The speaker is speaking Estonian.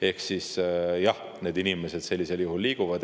Ehk siis, jah, need inimesed sellisel juhul liiguvad.